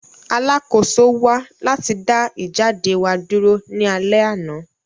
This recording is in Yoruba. Alakoso wa lati da ijade wa duro ni alẹ ana.